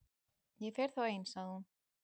Ég fer þá ein- sagði hún.